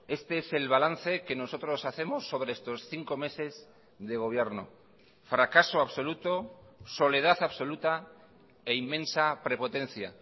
este es el balance que nosotros hacemos sobre estos cinco meses de gobierno fracaso absoluto soledad absoluta e inmensa prepotencia